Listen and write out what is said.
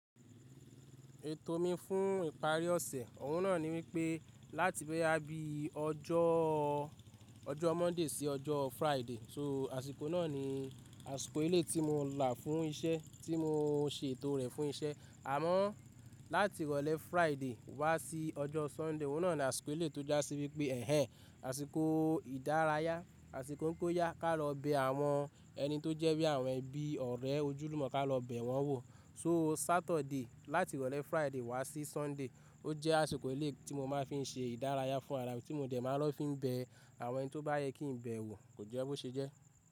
Ètò mi fún ìparí ọ̀sẹ̀ ohun náà ni wípé láti boya bi ọjọ́ọ Monday sí Friday, so àsìkò náà ni àsìkò eléi tí mo là fún isẹ́ tí mo se ètò rẹ̀ fún isẹ́. Àmọ́ láti ìrọ̀lẹ́ Friday wá sí ọjọ́ Sunday, ohun náà ni àsìkò eléi tó jásí wípé ẹ́hẹ́n àsìkò ìdárayá, àsìkò n pe óyá ká lọ bẹ àwọn ẹni tó jẹ́ bí àwọn ẹbí, ọ̀rẹ́, ojúlùmọ̀ ká lọ bẹ wọ́n wò. So Saturday láti ìrọ̀lẹ́ Friday wá sí Sunday, ó jẹ́ àsìkò eléi tí mo máa ń fi se ìdárayá fún ara mi tí mo dẹ̀ máa lọ fi ń bẹ àwọn ẹni tó bá yẹ kí n bẹ wò, kò jẹ́ bó ṣe jẹ́.